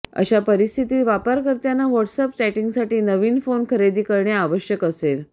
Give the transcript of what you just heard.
अशा परिस्थितीत वापरकर्त्यांना व्हॉट्सएप चॅटिंगसाठी नवीन फोन खरेदी करणे आवश्यक असेल